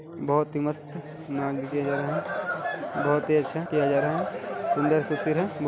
बहुत ही मस्त नाँव दिखे जा रहा है बहुत ही अच्छा किया जा रहा है सुंदर सा सीर है।